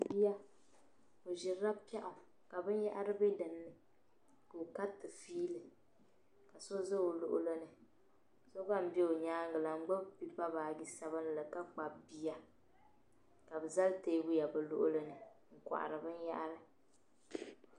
Biya ɔʒirila pɛɣu ka bin yahiri be dinni, ka ɔ kariti fiili ka so za ɔ luɣilini, so gba n be ɔ nyaaŋa la , ngbubi pepa baaji sabinli, ka Kpab biya. ka bɛ zali teebuya bɛ luɣilini n kohiri. bɛn yahiri,